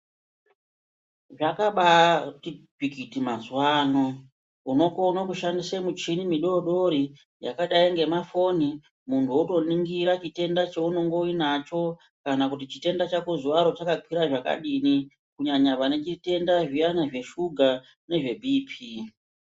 Zvakabati tsvikiti mazuwano unokone kushandisa michini midoodori yakadai ngemaFoni muntu otoningira chitenda chauinachokanakuti chitèndà chako nhasi chakaķwira zvakadini kunyanya vanezviteda zviya zveshuga nezve bhipi